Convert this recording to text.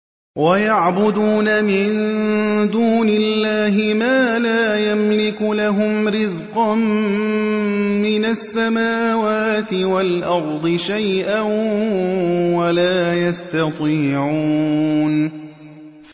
وَيَعْبُدُونَ مِن دُونِ اللَّهِ مَا لَا يَمْلِكُ لَهُمْ رِزْقًا مِّنَ السَّمَاوَاتِ وَالْأَرْضِ شَيْئًا وَلَا يَسْتَطِيعُونَ